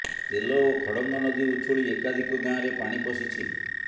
ତେଲ ଓ ଖଡଙ୍ଗ ନଦୀ ଉଛୁଳି ଏକାଧିକ ଗାଁରେ ପାଣି ପଶିଛି